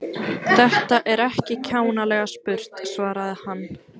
Þetta er ekki kjánalega spurt svaraði hann.